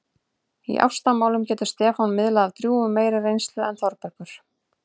Í ástamálum getur Stefán miðlað af drjúgum meiri reynslu en Þórbergur.